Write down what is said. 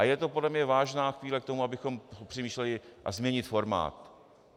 A je to podle mě vážná chvíle k tomu, abychom přemýšleli, jak změnit formát.